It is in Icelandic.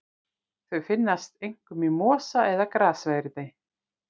Þau finnast einkum í mosa eða grassverði.